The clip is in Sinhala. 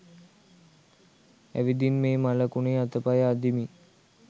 ඇවිදින් මේ මළකුණේ අතපය අදිමින්